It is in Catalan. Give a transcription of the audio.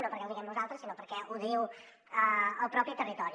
no perquè ho diguem nosaltres sinó perquè ho diu el propi territori